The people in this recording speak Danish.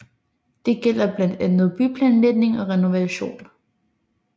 Det gælder blandt andet byplanlægning og renovation